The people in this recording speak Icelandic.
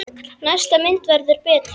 Næsta mynd verður betri!